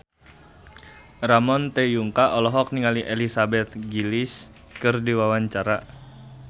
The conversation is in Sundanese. Ramon T. Yungka olohok ningali Elizabeth Gillies keur diwawancara